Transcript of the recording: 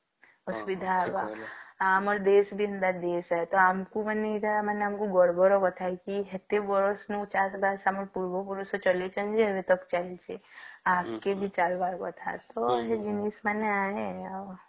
ଆଉ ଆମର ଦେଶ ବି ଏନ୍ତା ଦେଶ ହେ ତ ଆମକୁ ମାନେ ଏଇଟା ଅମର ଗର୍ବର କଥା ହେଇକି ଏତେ ବାଡ ଚାଷ ଆମ ପୂର୍ବପୁରୁଷ ଚଳେଇଛନ୍ତି ଏବେ ତ ସେମତି